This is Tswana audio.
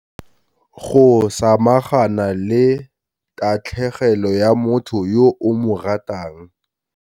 Go samagana le tatlhegelo ya motho yo o mo ratang.